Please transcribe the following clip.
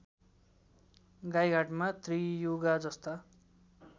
गाइघाटमा त्रियुगा जस्ता